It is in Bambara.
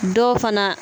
Dɔw fana